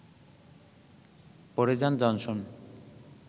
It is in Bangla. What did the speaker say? পড়ে যান জনসন